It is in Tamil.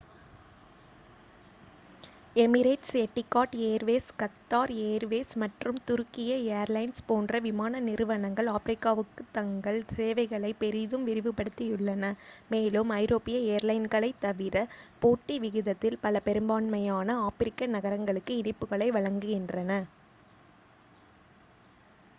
Emirates Etihad Airways Qatar Airways மற்றும் துருக்கிய ஏர்லைன்ஸ் போன்ற விமான நிறுவனங்கள் ஆப்பிரிக்காவுக்கு தங்கள் சேவைகளை பெரிதும் விரிவுபடுத்தியுள்ளன மேலும் ஐரோப்பிய ஏர்லைன்களைத் தவிர போட்டி விகிதத்தில் பல பெரும்பான்மையான ஆப்பிரிக்க நகரங்களுக்கு இணைப்புகளை வழங்குகின்றன